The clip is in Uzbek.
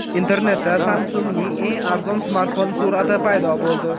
Internetda Samsung‘ning eng arzon smartfoni surati paydo bo‘ldi.